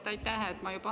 Aitäh!